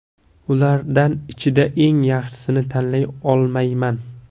Ulardan ichida eng yaxshisini tanlay olmayman.